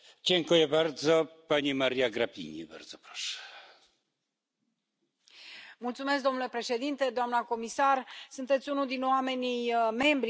Domnule președinte, doamna comisar, sunteți unul dintre membrii Comisiei care cunoaște foarte bine problema dezvoltării regionale și a fondurilor de coeziune.